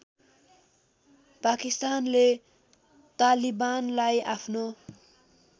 पाकिस्तानले तालिबानलाई आफ्नो